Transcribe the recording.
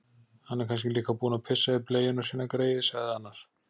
Hann er kannski líka búinn að pissa í bleiuna sína, greyið, sagði annar.